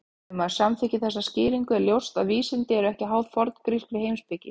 Ef maður samþykkir þessa skýringu er ljóst að vísindi eru ekki háð forngrískri heimspeki.